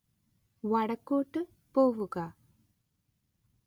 വടക്കോട്ട് പോവുക